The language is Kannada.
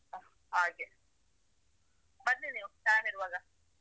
ಹ ಹಾಗೆ ಬನ್ನಿ ನೀವು time ಇರುವಾಗ.